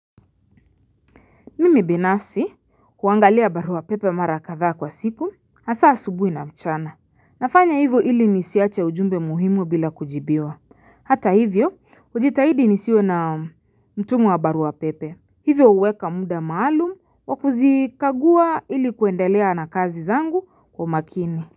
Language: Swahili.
Mimi binafsi huangalia barua pepe mara kadhaa kwa siku asaa subuhi na mchana Nafanya hivyo hili nisiache ujumbe muhimu bila kujibiwa hata hivyo hujitahidi nisiwe na mtumu wa barua pepe Hivyo uweka muda maalum wakuzikagua hili kuendelea na kazi zangu kwa makini.